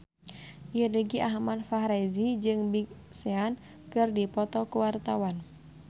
Irgi Ahmad Fahrezi jeung Big Sean keur dipoto ku wartawan